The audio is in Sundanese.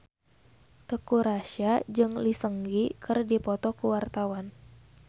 Teuku Rassya jeung Lee Seung Gi keur dipoto ku wartawan